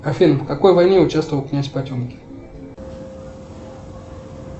афина в какой войне участвовал князь потемкин